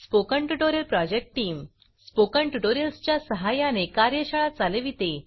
spoken tutorial project team spoken tutorials च्या सहाय्याने कार्यशाळा चालविते